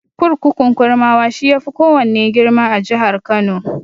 Kurkukun Kurmawa, shi ya fi kowanne girma a jihar Kano.